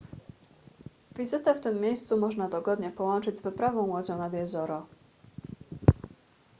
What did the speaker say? wizytę w tym miejscu można dogodnie połączyć z wyprawą łodzią nad jezioro